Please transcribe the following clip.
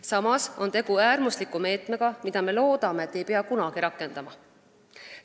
Samas on tegu äärmusliku meetmega, mida me loodame, et ei pea kunagi rakendama.